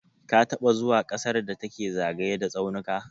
Ka taɓa zuwa ƙasar da take zagaye da tsaunuka?